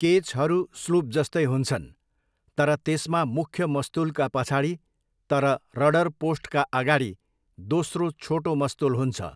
केचहरू स्लुपजस्तै हुन्छन्, तर त्यसमा मुख्य मस्तुलका पछाडि तर रडर पोस्टका अगाडि दोस्रो छोटो मस्तुल हुन्छ।